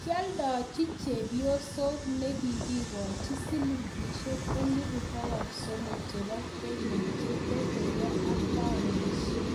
Kialdachi chepyoset nikikochi silingishek elpu 3000 chebo Kenya - chetetege ak paunisiek